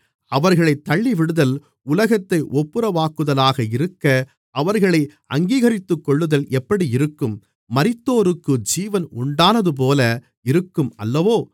அவர்களைத் தள்ளிவிடுதல் உலகத்தை ஒப்புரவாக்குதலாக இருக்க அவர்களை அங்கீகரித்துக்கொள்ளுதல் எப்படி இருக்கும் மரித்தோருக்கு ஜீவன் உண்டானதுபோல இருக்கும் அல்லவோ